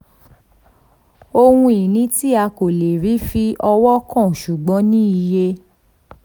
ohun ìní tí a kò lè rí fi ọwọ́ kàn ṣùgbọ́n ní iye.